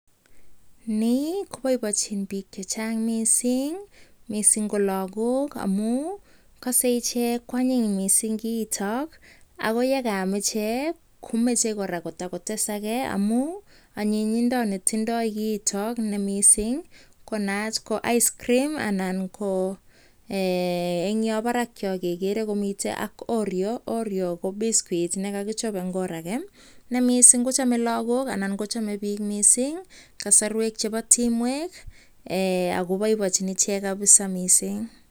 Nii koboiboichin biik che chang mising ko lagok amun kose ichek koanyin kiito. Ago ye kaam ichek komoche kora kotakotes age amun anyinyindo netindo kiito ne mising ko naat ko icecream anan ko en yon barak yon kegeree komi ak Oreo. Oreo ko biskut ne kogichob en or age ne mising kochame lagok, anan kochame biik kasarwek chebo timwek agob boiboichin ichek kabisa.